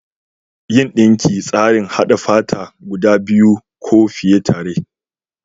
Yin dinki shine tsarin haɗa fata guda biyu ko fiye tare.